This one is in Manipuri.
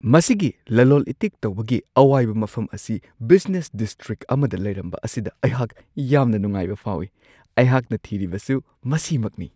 ꯃꯁꯤꯒꯤ ꯂꯂꯣꯜ-ꯏꯇꯤꯛ ꯇꯧꯕꯒꯤ ꯑꯋꯥꯏꯕ ꯃꯐꯝ ꯑꯁꯤ ꯕꯤꯖꯤꯅꯦꯁ ꯗꯤꯁꯇ꯭ꯔꯤꯛ ꯑꯃꯗ ꯂꯩꯔꯝꯕ ꯑꯁꯤꯗ ꯑꯩꯍꯥꯛ ꯌꯥꯝꯅ ꯅꯨꯡꯉꯥꯏꯕ ꯐꯥꯎꯋꯤ ꯫ ꯑꯩꯍꯥꯛꯅ ꯊꯤꯔꯤꯕꯁꯨ ꯃꯁꯤꯃꯛꯅꯤ ꯫